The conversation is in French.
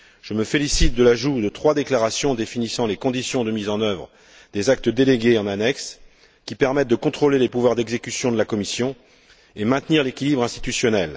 Je me félicite de l'ajout en annexe de trois déclarations définissant les conditions de mise en œuvre des actes délégués, qui permettent de contrôler les pouvoirs d'exécution de la Commission et de maintenir l'équilibre institutionnel.